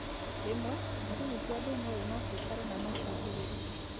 Rwĩmwe, ndariri cia thĩna ũyũ nocikare na no ciĩhĩrĩrie